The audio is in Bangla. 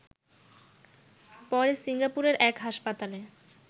পরে সিঙ্গাপুরের এক হাসপাতালে